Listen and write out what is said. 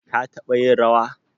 ka taba yin rawa?